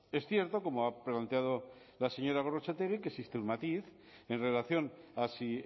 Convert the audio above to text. es cierto como ha planteado la señora gorrotxategi que existe un matiz en relación a si